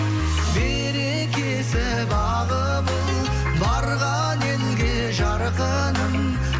берекесі бағы бол барған елге жарқыным